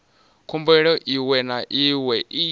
khumbelo iwe na iwe i